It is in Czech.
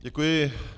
Děkuji.